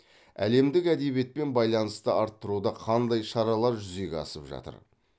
әлемдік әдебиетпен байланысты арттыруда қандай шаралар жүзеге асып жатыр